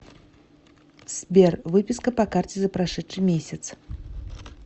сбер выписка по карте за прошедший месяц